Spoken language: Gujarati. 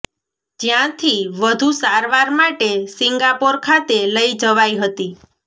જ્યાંથી વધુ સારવાર માટે સિંગાપોર ખાતે લઈ જવાઈ હતી